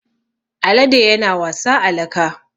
Alade yana wasa a laka.